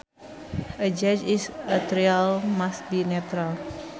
A judge in a trial must be neutral